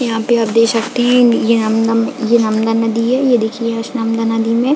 यहाँ पे आप देख सकते है यह हम यह हमदा नदी है यह देखिये इस हमदा नदी में --